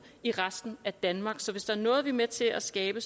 i resten af danmark så hvis der er noget vi er med til at skabe